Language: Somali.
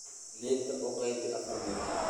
Liinta u qaybi afar meelood.